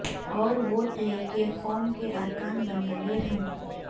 اور ووٹ لے کے قوم کے ارکان بنیں گے ہم